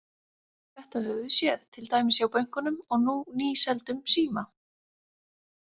Þetta höfum við séð, til dæmis hjá bönkunum og nú nýseldum Síma.